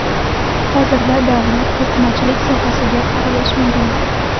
Hozirda davlat to‘qimachilik sohasiga aralashmagan.